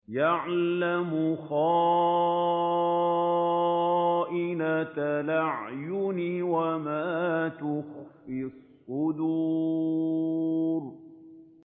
يَعْلَمُ خَائِنَةَ الْأَعْيُنِ وَمَا تُخْفِي الصُّدُورُ